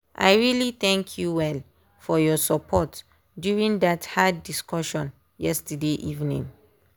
i really thank you well for your support during that hard discussion yesterday evening.